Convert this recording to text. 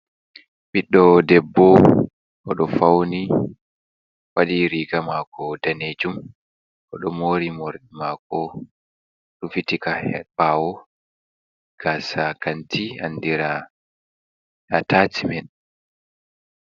Biɗdo ƊEBBO odo fauni, wadi riga mako danejum o do mori morɗi mako rufitika bawo. gasa kanti andira atacimen.